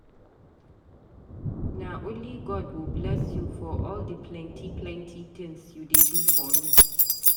Na only God go bless you for all di plenty plenty tins you dey do for me.